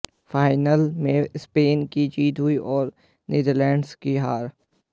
final में Spain की जीत हुई और नीदरलैंड्स की हार